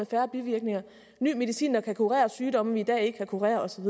færre bivirkninger ny medicin der kan kurere sygdomme som vi i dag ikke kan kurere og så